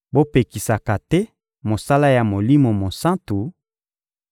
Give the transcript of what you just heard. Bopekisaka te mosala ya Molimo Mosantu,